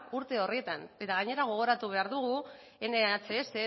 urte horietan eta gainera gogoratu behar dugu nhs